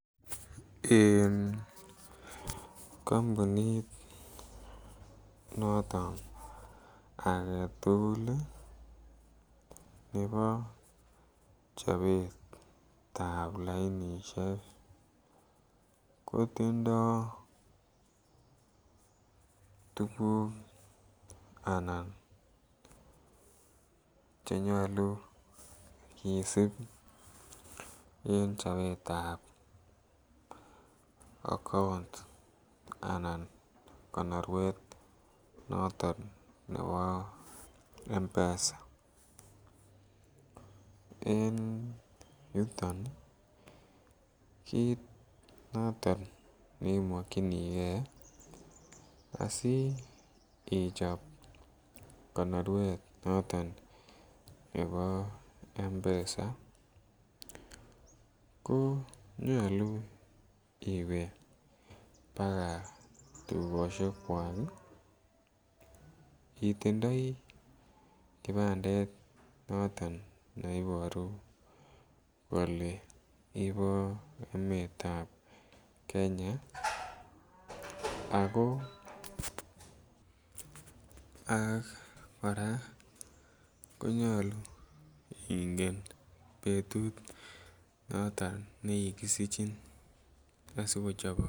En kampunit noton age tugul nebo chobetab lainisiek ko tindoi tuguk anan Che nyolu en chobetab account anan konoruet noton nebo mpesa en yuton kit noton ne mokyinigei asi ichob konoruet noton nebo mpesa ko nyolu iwe baka tukosiekwak itindoi kibandet noton ne Iboru kole ibo emetab Kenya ako kora ko nyolu ingen betut noton ne kikisichin asikochobok